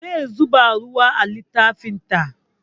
Zai zuba ruwa a littafin ta